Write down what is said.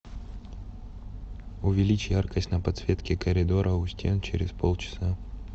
увеличь яркость на подсветке коридора у стен через полчаса